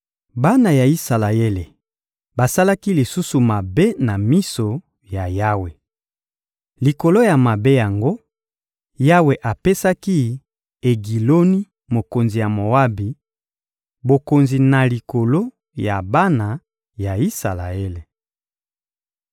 Bana ya Isalaele basalaki lisusu mabe na miso ya Yawe. Likolo ya mabe yango, Yawe apesaki Egiloni, mokonzi ya Moabi, bokonzi na likolo ya bana ya Isalaele.